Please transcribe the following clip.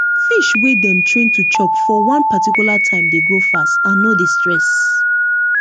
fish wey dem train to chop for one particular time dey grow fast and no dey stress